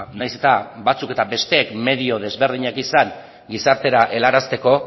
nahiz eta batzuk eta besteen medio ezberdinak izan gizartera helarazteko